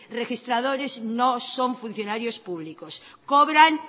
registradores no son funcionarios públicos cobran